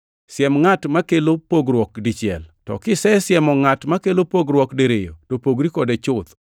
Siem ngʼat makelo pogruok dichiel, to kisesiemo ngʼat makelo pogruok diriyo to pogri kode chuth.